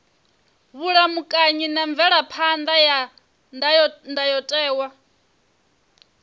vhulamukanyi na mvelaphan ḓa ya ndayotewa